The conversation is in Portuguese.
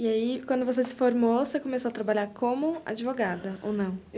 E aí, quando você se formou, você começou a trabalhar como advogada, ou não?